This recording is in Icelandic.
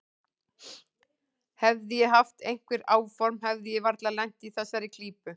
Hefði ég haft einhver áform hefði ég varla lent í þessari klípu.